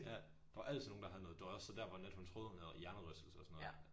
Ja der var altid nogen der havde noget døjer så der hvor Nat hun troede hun havde hjernerystelse og sådan noget